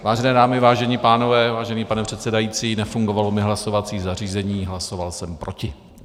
Vážené dámy, vážení pánové, vážený pane předsedající, nefungovalo mi hlasovací zařízení, hlasoval jsem proti.